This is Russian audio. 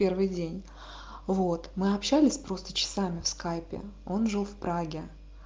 первый день вот мы общались просто часами в скайпе он жил в праге